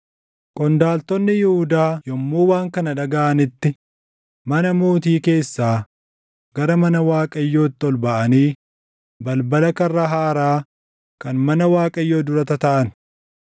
Qondaaltonni Yihuudaa yommuu waan kana dhagaʼanitti mana Mootii keessaa gara mana Waaqayyootti ol baʼanii balbala karra Haaraa kan mana Waaqayyoo dura tataaʼan.